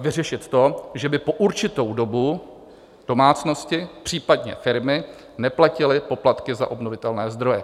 vyřešit to, že by po určitou dobu domácnosti, případně firmy neplatily poplatky za obnovitelné zdroje.